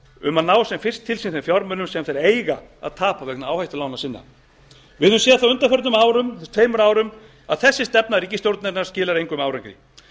um að ná sem fyrst til sín þeim fjármunum sem þeir eiga að tapa vegna áhættulána sinna við höfum séð það á undanförnum tveim árum að þessi stefna ríkisstjórnarinnar skilar engum árangri